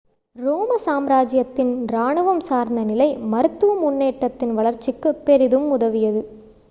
ரோம சாம்ராஜ்யத்தின் ராணுவம் சார்ந்த நிலை மருத்துவ முன்னேற்றதின் வளர்ச்சிக்குப் பெரிதும் உதவியது